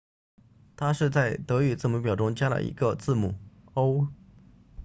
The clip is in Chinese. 它是在德语字母表中加了一个字母 õ/õ